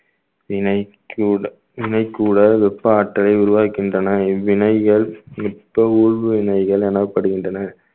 வினைக் கூட~ வினைக் கூடல் வெப்பாற்றலை உருவாக்கின்றன இவ்வினைகள் வினைகள் எனப்படுகின்றன